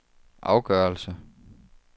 afgørelse